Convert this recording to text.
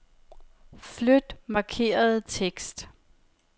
Flyt markerede tekst.